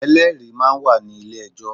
Ẹlẹ́rìí máa ń wà ní ilé ẹjọ́.